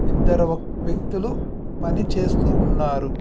ఇద్దరు ఒక్-- వ్యక్తులు పని చేస్తూ ఉన్నారు.